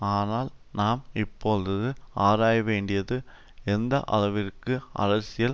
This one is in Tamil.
ஆனால் நாம் இப்பொழுது ஆராயவேண்டியது எந்த அளவிற்கு அரசியல்